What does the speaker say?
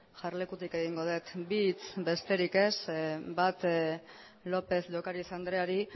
jarlekutik egingo dut bi hitz besterik ez bat lópez de ocariz andreari